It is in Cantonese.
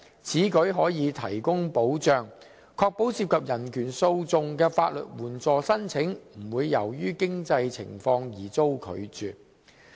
此舉可提供保障，確保涉及人權訴訟的法律援助申請不會由於經濟情況而遭拒絕。